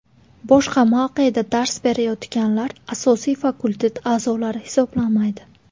Boshqa mavqeda dars berayotganlar asosiy fakultet a’zolari hisoblanmaydi.